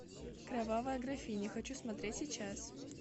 кровавая графиня хочу смотреть сейчас